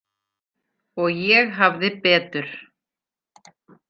Og ég hafði betur.